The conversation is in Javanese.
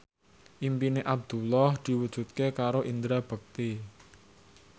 impine Abdullah diwujudke karo Indra Bekti